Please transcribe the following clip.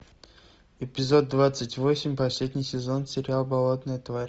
эпизод двадцать восемь последний сезон сериал болотная тварь